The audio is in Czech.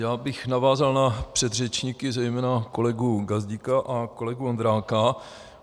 Já bych navázal na předřečníky, zejména kolegu Gazdíka a kolegu Vondráka.